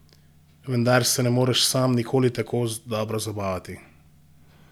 Vendar se ne moreš sam nikoli tako dobro zabavati!